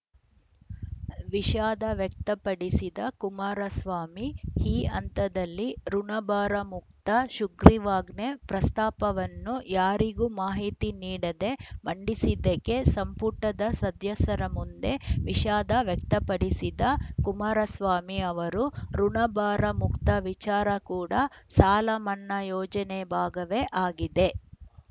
ವಿಷಾದ ವ್ಯಕ್ತಪಡಿಸಿದ ಕುಮಾರಸ್ವಾಮಿ ಈ ಹಂತದಲ್ಲಿ ಋುಣಭಾರ ಮುಕ್ತ ಶುಗ್ರೀವಾಜ್ಞೆ ಪ್ರಸ್ತಾಪವನ್ನು ಯಾರಿಗೂ ಮಾಹಿತಿ ನೀಡದೇ ಮಂಡಿಸಿದ್ದಕ್ಕೆ ಸಂಪುಟದ ಸದ್ಯಸರ ಮುಂದೆ ವಿಷಾದ ವ್ಯಕ್ತಪಡಿಸಿದ ಕುಮಾರಸ್ವಾಮಿ ಅವರು ಋುಣಭಾರ ಮುಕ್ತ ವಿಚಾರ ಕೂಡ ಸಾಲ ಮನ್ನಾ ಯೋಜನೆಯ ಭಾಗವೇ ಆಗಿದೆ